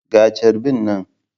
Ga charbi nan.